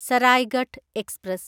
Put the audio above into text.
Saraighat express